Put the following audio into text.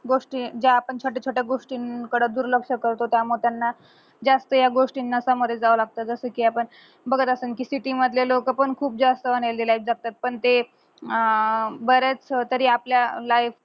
ज्या आपण छोट्या छोट्या गोष्टीं कडे दुर्लक्ष करतो त्यामुळे त्यांना जास्त या गोष्टीना ना सामोरे जावं लागत जसा कि आपण बघत असन कि city लोक पण खूप जास्त unhealthy life जगतायेत पण ते अं बऱ्याच तरी आपल्या life